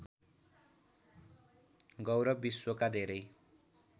गौरव विश्वका धेरै